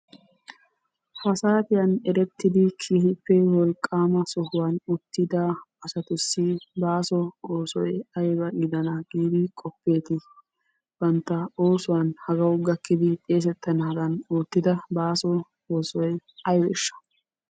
Ha saatiyan erettidi keehippe wolqqaama sohuwan uttida asatussi baaso oosoy ayba giddana giidi qofetti bantta oosuwan hagawu gakkidi xeesettanaadan oottida baaso oosoy aybesha?